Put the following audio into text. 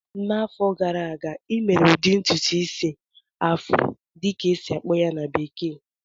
N'afọ gara aga, ị mere ụdị ntụtụ isi "afro" dịka a esi-akpọ ya na bekee?